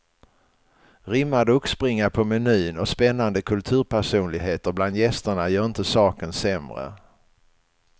Rimmad oxbringa på menyn och spännande kulturpersonligheter bland gästerna gör inte saken sämre.